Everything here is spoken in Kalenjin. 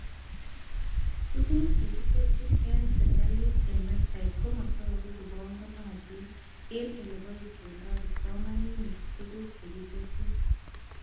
Tuguk chekitesyi eng shirikait eng website komatoku kobanganatin eng oleboishendoi kipsomanink tuguk chekitesyi